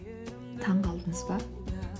таңғалдыңыз ба